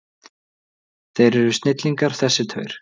Þeir eru snillingar þessir tveir.